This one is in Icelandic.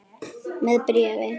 Með bréfi.